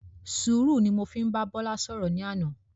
Sùúrù ni mo fi bá Bọ́lá ṣọ̀rọ̀ ní àná.